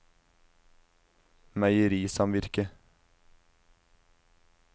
meierisamvirket